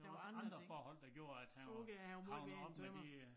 Der var andre forhold der gjorde at han var han var nået om med det øh